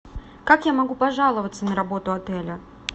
как я могу пожаловаться на работу отеля